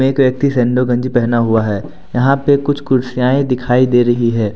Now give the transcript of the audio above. एक व्यक्ति सैंडो गंजी पहना हुआ है यहां पे कुछ कुर्सियांये दिखाई दे रही है।